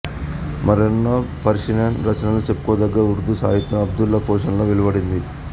మరెన్నో పర్షియన్ రచనలు చెప్పుకోదగ్గ ఉర్దూ సాహిత్యం అబ్దుల్లా పోషణలో వెలువడింది